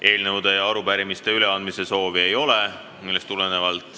Eelnõude ja arupärimiste üleandmise soovi ei ole.